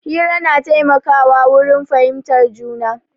Hira na taimaka wa wurin fahimtar juna